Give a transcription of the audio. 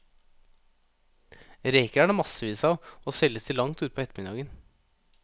Reker er det massevis av, og selges til langt utpå ettermiddagen.